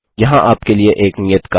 यहाँ आपके लिए एक नियत कार्य है